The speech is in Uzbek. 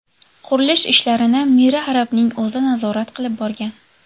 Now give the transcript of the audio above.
Qurilish ishlarini Miri Arabning o‘zi nazorat qilib borgan.